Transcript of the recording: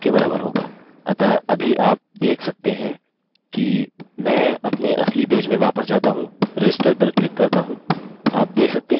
अतः अभी आप देख सकते हैं कि मैं अपने असली पेज में वापस जाता हूँ register पर क्लिक करता हूँ